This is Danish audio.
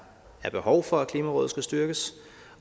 behov for at klimarådet skal styrkes